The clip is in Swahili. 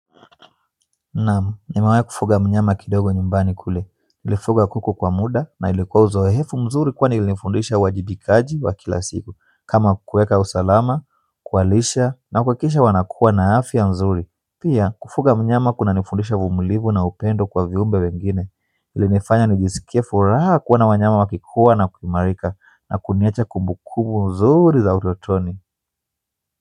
Naam nimewai kufuga mnyama kidogo nyumbani kule, nilifuga kuku kwa muda na ilikuwa uzoefu mzuri kwani ilinifundisha uwajibikaji wa kila siku kama kuweka usalama, kuwalisha na kuhakikisha wanakuwa na afya mzuri pia kufuga mnyama kunanifundisha uvumilivu na upendo kwa viumbe wengine ili nifanya nijisikie furaha kuona wanyama wakikua na kuimarika na kuniacha kumbukumbu nzuri za utotoni.